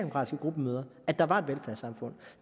at arbejde